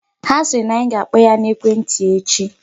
Ha sịrị na anyị ga-akpọ ya n'ekwentị echi.